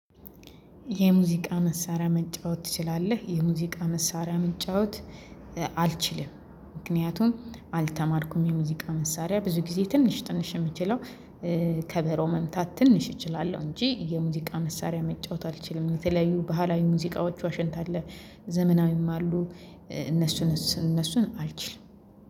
የሙዚቃ መሳሪያ መጫወት ትችላለህ? የሙዚቃ መሳሪያ መጫወት አልችልም። ምክንያቱም አልተማርኩም የሙዚቃ መሳሪያ ብዙ ጊዜ ትንሽ ትንሽ እምችለው ከበሮ መምታት ትንሽ እችላለሁ። እንጂ የሙዚቃ መሳሪያ መጫወት አልችልም። የተለያዩ ባህላዊ ሙዚቃዎች ዋሸንት አለ። ዘመናዊም አሉ። እነሱን እነሱን አልችልም